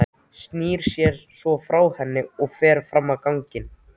Snýr sér svo frá henni og fer fram á ganginn.